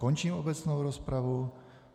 Končím obecnou rozpravu.